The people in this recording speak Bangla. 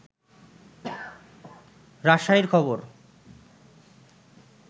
রাজশাহীর খবর